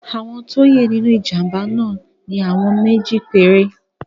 Àwọn tí o ye nínú ìjàmbá náà ni àwọn méjì péré.